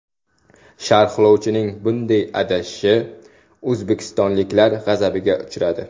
Sharhlovchining bunday adashishi o‘zbekistonliklar g‘azabiga uchradi.